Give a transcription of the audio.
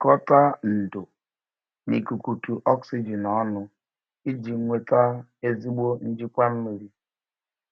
Jikọta ndò na ikukutu oxygen ọnụ iji nweta ezigbo njikwa mmiri.